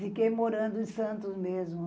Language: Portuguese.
Fiquei morando em Santos mesmo.